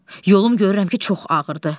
Yolum görürəm ki, çox ağırdır.